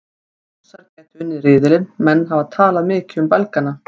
Rússar gætu unnið riðilinn Menn hafa talað mikið um Belgana.